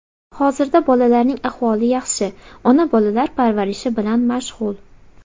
Hozirda bolalarning ahvoli yaxshi, ona bolalar parvarishi bilan mashg‘ul.